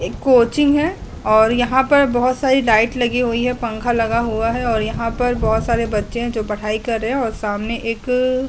एक कोचिंग है और यहां पर बहोत सारी लाइट लगी हुई हैं। पंखा लगा हुआ है और यहां पर बहोत सारे बच्चे हैं जो पढ़ाई कर रहे हैं और सामने एक--